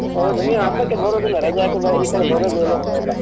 ಹೌದು, ನೀವು ಹಬ್ಬಕ್ಕೆ ಬರುದಿಲ್ಲ ರಜೆ ಹಾಕಿದಾಗ ಈಕಡೆ ಬರುದೇ ನೀವೆಲ್ಲ.